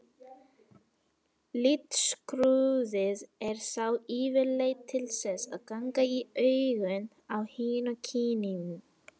Litskrúðið er þá yfirleitt til þess að ganga í augun á hinu kyninu.